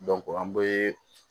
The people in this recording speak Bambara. an bɛ